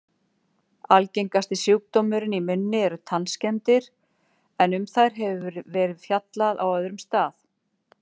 Algengasti sjúkdómurinn í munni eru tannskemmdir, en um þær hefur verið fjallað á öðrum stað.